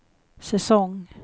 säsong